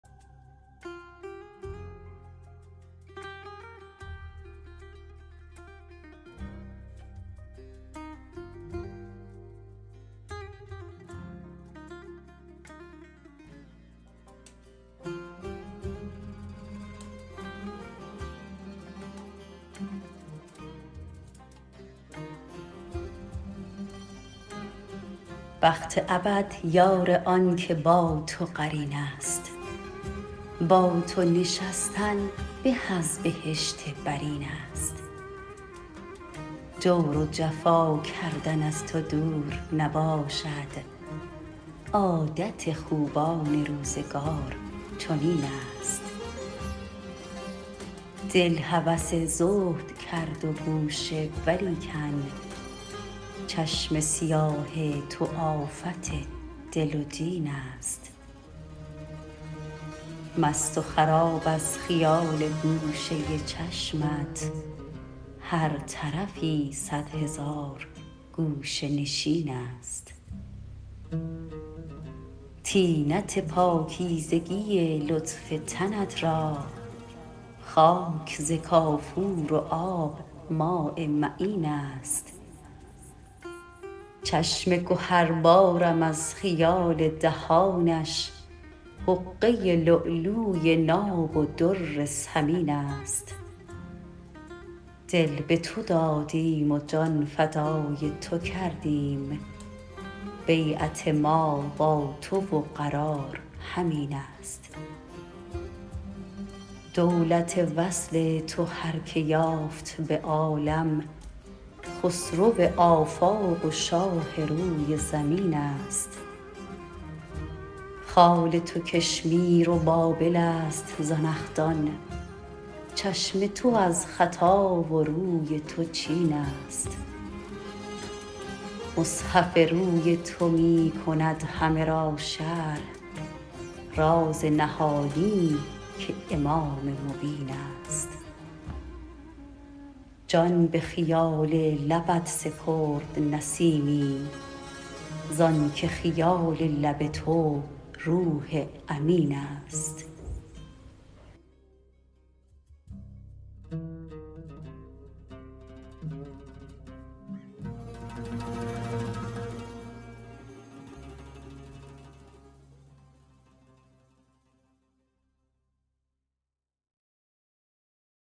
بخت ابد یار آن که با تو قرین است با تو نشستن به از بهشت برین است جور و جفا کردن از تو دور نباشد عادت خوبان روزگار چنین است دل هوس زهد کرد و گوشه ولیکن چشم سیاه تو آفت دل و دین است مست و خراب از خیال گوشه چشمت هر طرفی صدهزار گوشه نشین است طینت پاکیزگی لطف تنت را خاک ز کافور و آب ماء معین است چشم گهربارم از خیال دهانش حقه لؤلؤی ناب و در ثمین است دل به تو دادیم و جان فدای تو کردیم بیعت ما با تو و قرار همین است دولت وصل تو هر که یافت به عالم خسرو آفاق و شاه روی زمین است خال تو کشمیر و بابل است زنخدان چشم تو از خطا و روی تو چین است مصحف روی تو می کند همه را شرح راز نهانی که آنامام مبین است جان به خیال لبت سپرد نسیمی زان که خیال لب تو روح امین است